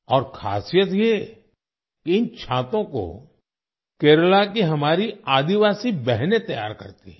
और खासियत ये इन छातों को केरला की हमारी आदिवासी बहनें तैयार करती हैं